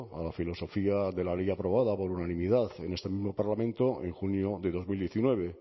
a la filosofía de la ley aprobada por unanimidad en este mismo parlamento en junio de dos mil diecinueve